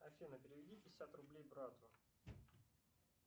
афина переведи пятьдесят рублей брату